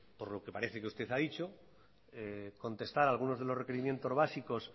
por lo que parece que usted ha dicho contestar algunos de los requerimientos básicos